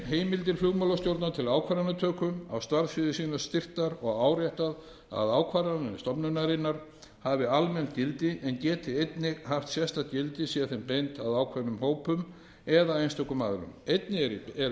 heimildir flugmálastjórnar til ákvarðanatöku á starfssviði sínu styrktar og áréttað að ákvarðanir stofnunarinnar hafi almennt gildi en geti einnig haft sérstakt gildi sé þeim beint að ákveðnum hópum eða einstökum aðilum einnig er